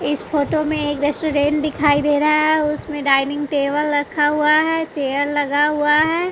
इस फोटो में एक रेस्टोरेंट दिखाई दे रहा है उसमें डाइनिंग टेबल रखा हुआ है चेयर लगा हुआ है।